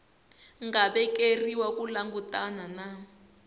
nga vekeriwa ku langutana na